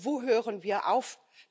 Und wo hören wir auf?